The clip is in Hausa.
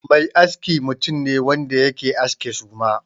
Mai aski mutum ne wanda yake aske suma.